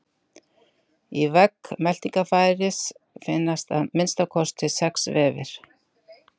Í vegg meltingarfæris finnast að minnsta kosti sex vefir.